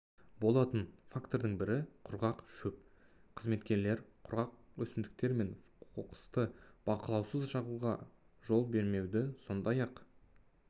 болатын фактордың бірі құрғақ шөп қызметкерлер құрғақ өсімдіктер мен қоқысты бақылаусыз жағуға жол бермеуді сондай-ақ